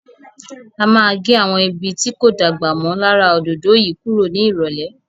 A má a gẹ́ àwọn ibi tí kò dàgbà mọ́ lára òdòdó yìí kúrò ní ìrọ̀lẹ́.